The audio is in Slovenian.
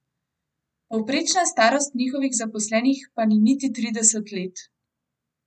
Povprečna starost njihovih zaposlenih pa ni niti trideset let.